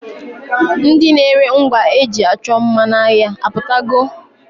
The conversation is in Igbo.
Ndi na-ere ngwa e ji achọ mma n'ahịa apụtago?